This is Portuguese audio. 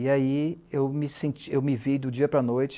E aí eu me vi, do dia para a noite,